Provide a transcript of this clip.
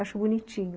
Acho bonitinho.